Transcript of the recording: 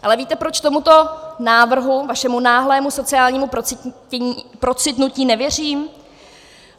Ale víte, proč tomuto návrhu, vašemu náhlému sociálnímu procitnutí nevěřím?